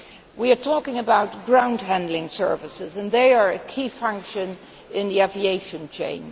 We are talking about ground handling services, and they are a key function in the aviation chain.